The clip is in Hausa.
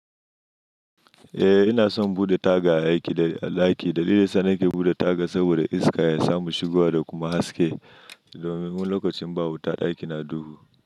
Eh ina son bude taga aiki dai a ɗaki. Dalilin sa nake bude taga saboda iska ya samu shigowa da kuma haske domin lokacin ba wuta ɗaki na duhu.